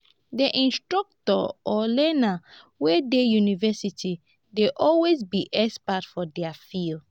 di instructors or learner wey de university dey always be expert for their fields